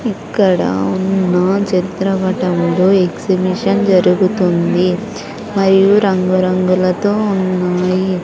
ఇక్కడ ఉన్న చిత్రపటంలో ఎక్సిబిషన్ జరుగుతుంది మరియు రంగు రంగులతో ఉన్నాయి.